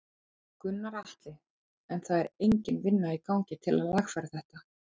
Gunnar Atli: En það er engin vinna í gangi til að lagfæra þetta?